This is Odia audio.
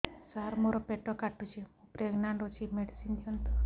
ସାର ମୋର ପେଟ କାଟୁଚି ମୁ ପ୍ରେଗନାଂଟ ଅଛି ମେଡିସିନ ଦିଅନ୍ତୁ